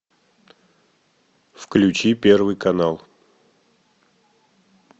включи первый канал